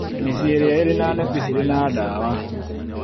Mĩciĩ ĩrĩa ĩrĩ na neti cirĩ na dawa